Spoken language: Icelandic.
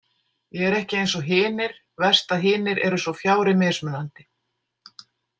Ég er ekki eins og hinir Verst að hinir eru svo fjári mismunandi.